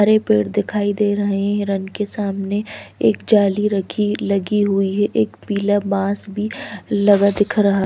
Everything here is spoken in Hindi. हरे पेड़ दिखाई दे रहे हैं हिरण के सामने एक जाली रखी लगी हुई है एक पीला बाँस भी लगा दिख रहा--